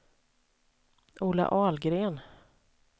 Ola Ahlgren